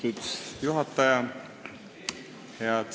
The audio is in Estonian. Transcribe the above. Austatud juhataja!